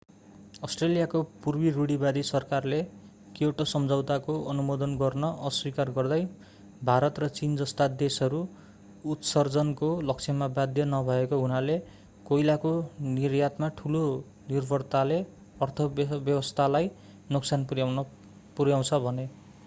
अष्ट्रेलियाको पूर्व रूढीवादी सरकारले क्योटो सम्झौताको अनुमोदन गर्न अस्वीकार गर्दै भारत र चीन जस्ता देशहरू उत्सर्जनको लक्ष्यमा बाध्य नभएको हुनाले कोइलाको निर्यातमा ठूलो निर्भरताले अर्थव्यवस्थालाई नोक्सान पुर्‍याउँछ भने।